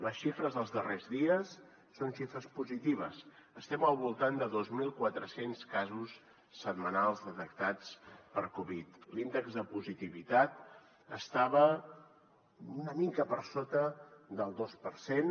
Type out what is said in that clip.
les xifres dels darrers dies són xifres positives estem al voltant de dos mil quatre cents casos setmanals detectats per covid l’índex de positivitat estava una mica per sota del dos per cent